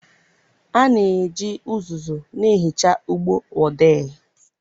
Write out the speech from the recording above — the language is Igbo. A na-eji uzuzu na-ehicha ụgbọ odee.